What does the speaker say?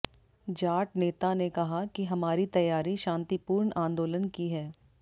जाट नेता ने कहा कि हमारी तैयारी शांतिपूर्ण आंदोलन की है